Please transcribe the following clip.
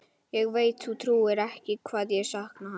Ég veit þú trúir ekki hvað ég sakna hans.